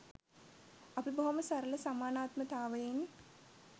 අපි බොහොම සරල සමානාත්මතාවයෙන්